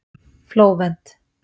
Flóvent